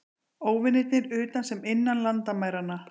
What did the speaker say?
Óvinirnir utan sem innan landamæranna.